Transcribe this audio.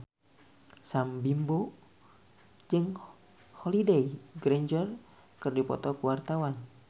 Sam Bimbo jeung Holliday Grainger keur dipoto ku wartawan